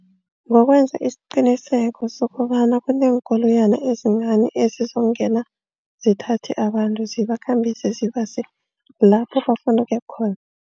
Ngokwenza isiqinisekiso sokobana kuneenkoloyana ezincani ezizongena zithathe abantu. Zibakhambise zibase lapho bafuna ukuya khona.